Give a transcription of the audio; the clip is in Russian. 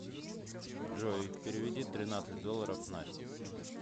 джой переведи тринадцать долларов насте